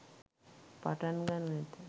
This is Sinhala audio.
පටන් ගනු ඇත.